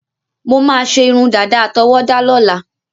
Mo máà ṣe irun dada àtọwọda lóla